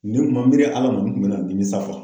Ni n kun ma miiri Ala ma n kun bɛ na nimisa